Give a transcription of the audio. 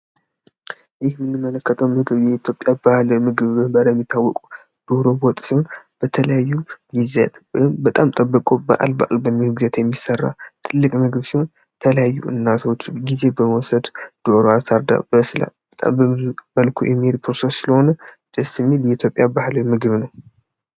ይህ ምንመለከተው ምግቡ የኢትዮጵያ ባህለ ምግብብ ባለሚታወቁ ዶሮ ወጥ ሲሆን በተለያዩ ጊዜ ህም በጣም ጠበቆ በአል በአል በሚውግዜት የሚሠራ ትልቅ ምግብ ሲሆን ተለያዩ እናቶዎች ጊዜ በመወሰድ ዶሮ አሳርዳ በስለ በጣም በዙመልኩ ኤሚር ፕሮሰስ ስለሆነ ደስ የሚል የኢትዮጵያ ባህላዊ ምግብ ነው።